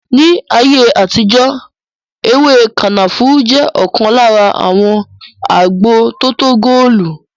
Ní ayé àtijó ewé kànáfùrú jẹ ọkan lára àwọn agbo tótó góòlù